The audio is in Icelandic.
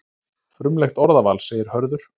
Frumlegt orðaval, segir Hörður.